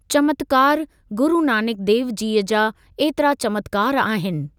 चमत्कारु, गुरु नानक देवजीअ जा ऐतरा चमत्कारु आहिनि।